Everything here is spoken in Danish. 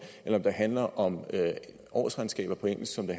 eller om det handler om årsregnskaber på engelsk som det